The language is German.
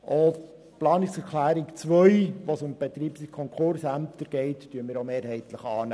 Auch die Planungserklärung 2 zu den Betreibungs- und Konkursämtern nehmen wir mehrheitlich an.